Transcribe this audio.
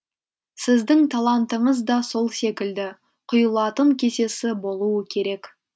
сіздің талантыңыз да сол секілді құйылатын кесесі болуы керек